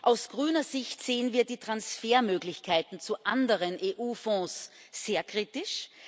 Aus grüner Sicht sehen wir die Transfermöglichkeiten zu anderen EU Fonds sehr kritisch.